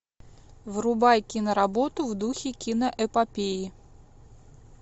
врубай киноработу в духе киноэпопеи